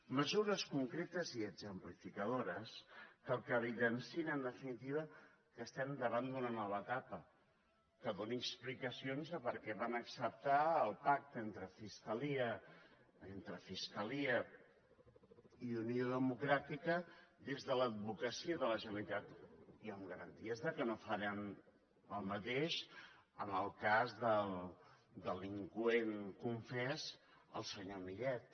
mesures concretes i exemplificadores que evidenciïn en definitiva que estem davant d’una nova etapa que doni explicacions de per què van acceptar el pacte entre fiscalia i unió democràtica des de l’advocacia de la generalitat i amb garanties que no faran el mateix amb el cas del delinqüent confés el senyor millet